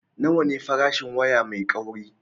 Nawa ne farashin waya mai kauri?